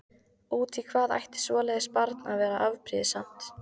Út í hvað ætti svoleiðis barn að vera afbrýðisamt?